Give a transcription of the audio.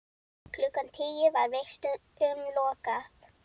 Klukkan tíu var vistum lokað.